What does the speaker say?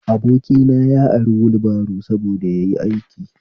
Abokina ya ari wulbaro saboda yayi aiki